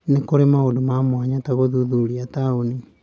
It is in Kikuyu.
Nĩ kũrĩ maũndũ ma mwanya ta gũthuthuria taũni.